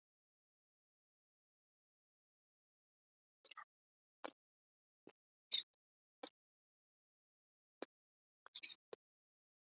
Draflastöðum